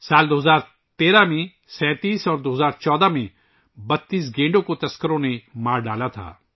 2013 ء میں 37 اور 2014 ء میں 32 گینڈوں کو شکاریوں نے ہلاک کر دیا تھا